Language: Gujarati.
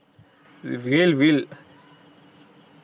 Will Will